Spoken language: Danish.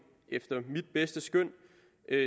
efter mit bedste skøn